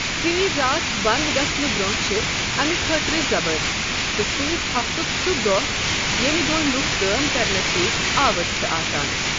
ژیٖرۍ راتھ بنٛد گژھنہٕ برۅنٛہہ چھ امہ خٲطرٕ زبر، تہٕ سٕتی ہفتک سہ دۅہ ییٚمہِ دۅہ لوٗکھ کٲم کرنس ستی آوٕرۍ چھ آسان۔